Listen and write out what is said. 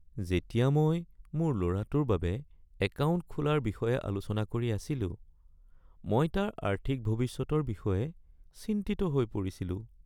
যেতিয়া মই মোৰ ল’ৰাটোৰ বাবে একাউণ্ট খোলাৰ বিষয়ে আলোচনা কৰি আছিলো, মই তাৰ আৰ্থিক ভৱিষ্যতৰ বিষয়ে চিন্তিত হৈ পৰিছিলোঁ।